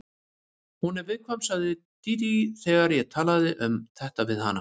Hún er viðkvæm, sagði svo Dídí þegar ég talaði um þetta við hana.